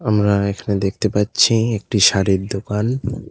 আমরা এখানে দেখতে পাচ্ছি একটি শাড়ির দোকান।